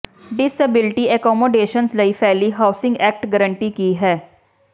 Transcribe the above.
disability accommodations ਲਈ fair housing act guarantee ਕੀ ਹੈ